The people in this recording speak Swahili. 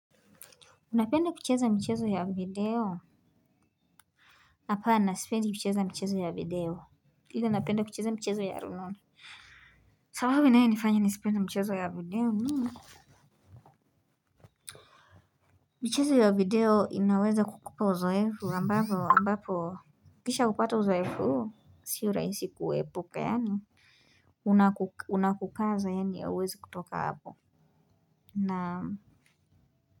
Unapenda kucheza michezo ya video? Hapana sipendi kucheza michezo ya video ila napenda kucheza michezo ya rununu. Sababu inayonifanya nisipende mchezo ya video ni michezo ya video inaweza kukupa uzoefu ambapo ambapo ukishaupata uzoefu huu sio rahisi kuepuka yaani unakukaza yaani ya huawezi kutoka hapo naam.